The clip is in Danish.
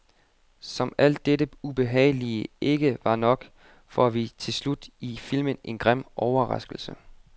Som alt dette ubehagelige ikke var nok, får vi til slut i filmen en grim overraskelse.